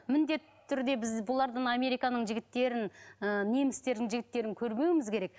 міндетті түрде біз бұлардан американың жігіттерін ыыы немістердің жігіттерін көрмеуіміз керек